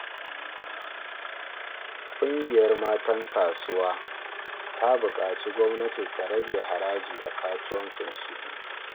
Kungiyar matan kasuwa ta bukaci gwamnati ta rage haraji a kasuwanninsu.